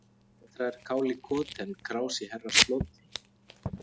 Betra er kál í koti en krás í herrasloti.